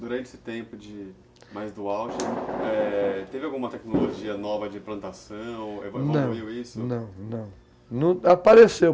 Durante esse tempo de mais do auge, teve alguma tecnologia nova de implantação? não, não, apareceu